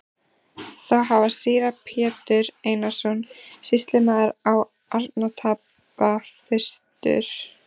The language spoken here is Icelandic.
Þá hafði síra Pétur Einarsson sýslumaður á Arnarstapa fyrstur